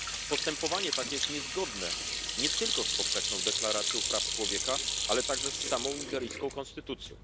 Postępowanie takie jest niezgodne nie tylko z Powszechną Deklaracją Praw Człowieka, ale także z samą nigeryjską konstytucją.